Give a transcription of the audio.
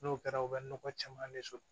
N'o kɛra u bɛ nɔgɔ caman de sɔrɔ